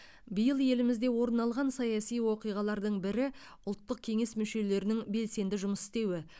биыл елімізде орын алған саяси оқиғалардың бірі ұлттық кеңес мүшелерінің белсенді жұмыс істеуі